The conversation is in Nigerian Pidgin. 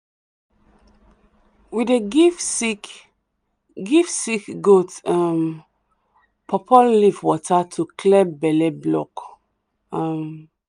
we dey give sick give sick goat um pawpaw leaf water to clear belle block. um